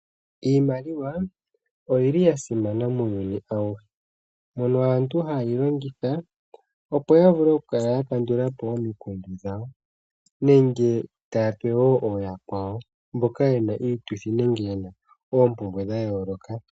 Iimaliwa oyili yasimana muuyuni awuhe, mono aantu hayeyi longitha, opo yavule okukala ya kandulapo omikundu dhawo, nenge tayape wo ooyakwawo mboka yena iituthi, nenge oompumbwe dhayooloka.